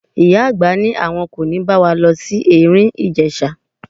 Ìyá àgbà ní àwọn kò ní bá wa lọ sí Ẹ̀rìn-Ìjèṣa.